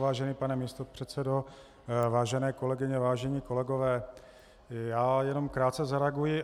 Vážený pane místopředsedo, vážené kolegyně, vážení kolegové, já jenom krátce zareaguji.